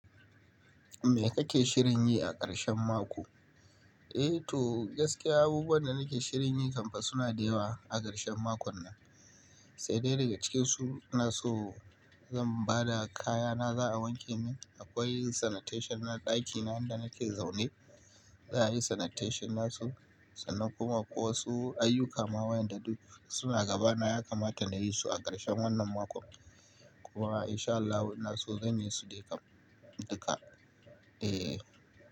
Me kake shirin yi a ƙarshen mako? Eh to gaske abubuwan da nake shirin yi kam fa suna da yawa a ƙarshen makon nan, sai dai daga cikin su ina so zan ba da kayana za a wanke min. Akwai sanitation na ɗakina inda nake zaune za a yi sanitation nasu. Sannan kuma akwai wasu ayyuka ma wa'yanda duk suna gaba na ya kamata na yi su a ƙarshen wannan mako. Kuma in sha Allah ina so zan yi su dai kam duka.